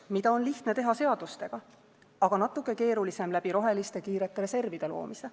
Seda on lihtne teha seadustega, aga natuke keerulisem läbi roheliste kiirete reservide loomise.